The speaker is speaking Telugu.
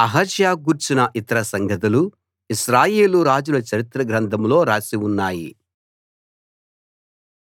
అహజ్యా గూర్చిన ఇతర సంగతులు ఇశ్రాయేలు రాజుల చరిత్ర గ్రంథంలో రాసి ఉన్నాయి